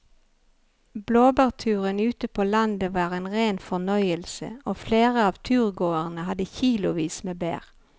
Blåbærturen ute på landet var en rein fornøyelse og flere av turgåerene hadde kilosvis med bær.